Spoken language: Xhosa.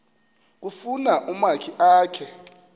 kufuna umakhi akhe